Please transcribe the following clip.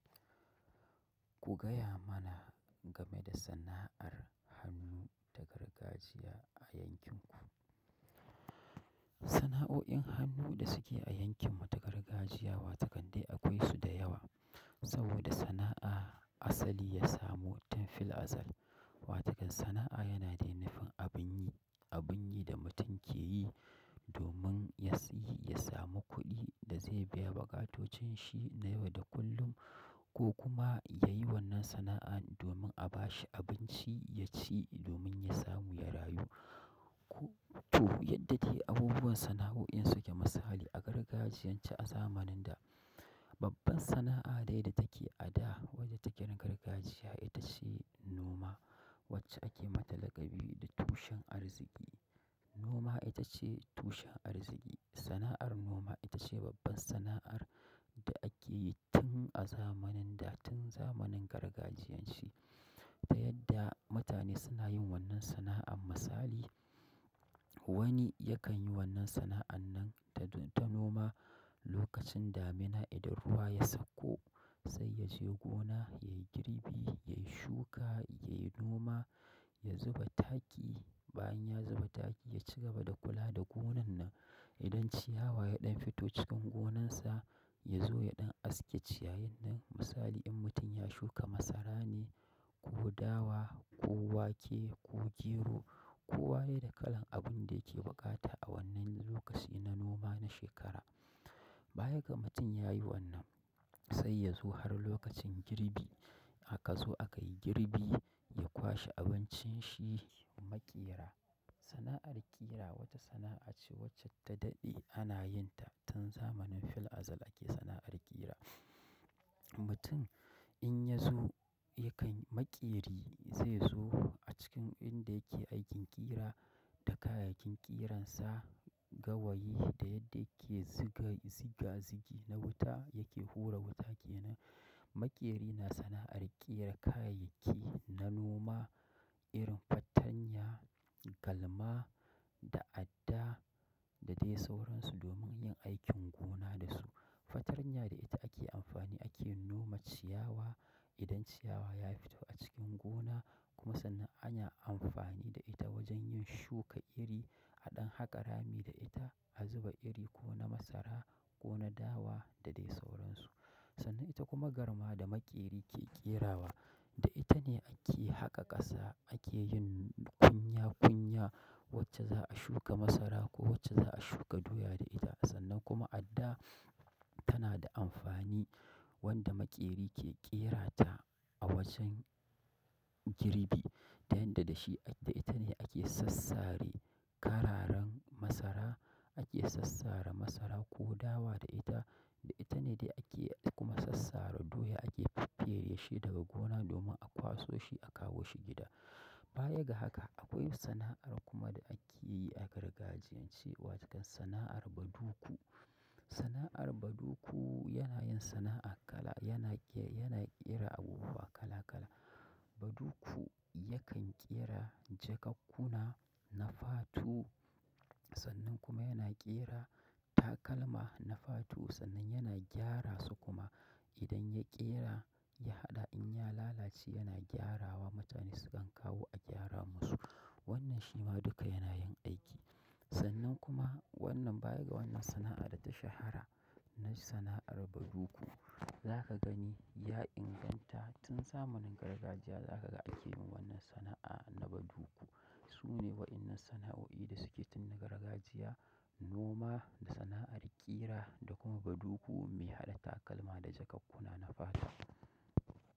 Ku gaya mana game da sana'ar hannu ta gargajiya a yankin ku. Sana'o'in hannu da suke a yankin mu ta gargajiya wa takande akwai su da yawa. Saboda sana'a asali ya samo tun fil azal. Wa takan sana'a yana dai nufin abun yi, abun yi da mutum ke yi domin ya siyi, ya samu kuɗi da zai biya buƙatotunshi na yau da kullum ko kuma ya yi wannan sana'a domin a bashi abinci ya ci domin ya samu ya rayu. To yadda ke abubuwan sana'o'in suke misali a gargajiyan ce a zamanin da. Babban sana'a dai da take a da wadda take na gargajiya ita ce noma wacce ake mata laƙabi da tushen arziki. Noma ita ce tushen arziki. Sana'ar noma ita ce babban sana'ar da ake yi tun a zamanin da tun zamanin gargajiyan ce. Ta yadda mutane suna yin wannan sana'an misali wani yakan yi wannan sana'an nan ta noma lokacin damina idan ruwa ya sakko sai ya je gona yayi girbi, yayi shuka, yayi noma, ya zuba taki. Bayan ya zuba taki ya ci gaba da kula da gonan nan. Idan ciyawa ya ɗan fito cikin gonan sa ya zo ya ɗan aske ciyayen nan misali in mutum ya shuka masarane ko dawa ko wake ko gero ko waye da kalan abun da yake buƙata a wannan lokaci na noma na shekara. Bayaga mutum ya yi wannan sai ya zo har lokacin girbi. Haka zo akai girbi ya kwashe abincin shi maƙera. Sana'ar kira wata sana'ace wacce ta daɗe ana yin ta tun zamanin fil'azal ake sana'ar kira mutum in ya zo yakan maƙeri zai zo a cikin inda yake aikin ƙira da kayayyakin ƙiran sa, gawayi da yadda yake ziga ziga zigi na wuta yake fura wuta ke nan. Maƙeri na sana'ar ƙera kayayyaki na noma, irin fattanya, galma da adda da dai sauransu domin yin aikin gona da su. Fatanya da ita ake amfani ake noma ciyawa idan ciyawa ya fito a cikin gona kuma sannan ana amfani da ita wajen yin shuka iri, haɗin haka rami da ita a zuba iri ko na masara ko na dawa da dai sauransu. Sannan ita kuma garma da maƙeri ke ƙerawa. Da ita ne ake haka ƙasa ake yin kunya kunya wacce za a shuka masara ko wacce za a shuka doya da ita. Sannan kuma adda tana da amfani wanda maƙeri ke ƙera ta a wajen girbi. Ta yanda dashi ake ita ne ake sassare kararen masara. Ake sassare masara ko dawa da ita. Da ita ne dai ake kuma sassare doya ake feffere shi daga gona domin a kwaso shi a kawo shi gida. Bayaga haka akwai sana'ar kuma da ake yi a gargajiyan ce wa tokan sana'ar baduku. Sana'ar baduku yana yin sana'a kala yana ƙera abubuwa kala kala. Baduku yakan ƙera jakakkuna na fatu sannan kuma yana ƙera takalma na fatu sannan yana gyara su kuma idan ya ƙera ya haɗa in ya lalace yana gyarawa mutane sukan kawo a gyara masu. Wannan shi ma duka yana yin aiki. Sannan kuma wannan baya ga wannan sana'a da ta shahara na sana'ar baduku. Zakagani ya inganta tun zamanin gargajiya ake yin wannan sana'a ta badugu sune waƴannan sana'oi dasuke tun gargajiya muma da sana'ar kira da kuma badugu mai haɗa takalma da jakakkuna.